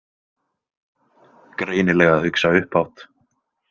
Greinilega að hugsa upphátt.